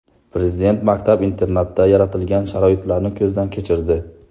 Prezident maktab-internatda yaratilgan sharoitlarni ko‘zdan kechirdi.